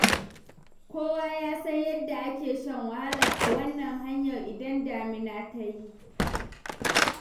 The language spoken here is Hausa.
Kowa ya san yadda ake shan wahala a wannan hanyar idan damina ta yi.